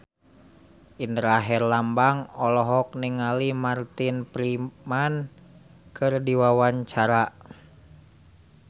Indra Herlambang olohok ningali Martin Freeman keur diwawancara